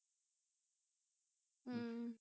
ਹਮ